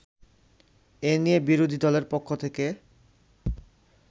এ নিয়ে বিরোধীদলের পক্ষ থেকে